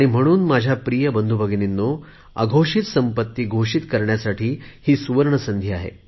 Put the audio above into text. म्हणून माझ्या प्रिय बंधुभगिनीनों अघोषित संपत्ती घोषित करण्यासाठी सुवर्ण संधी आहे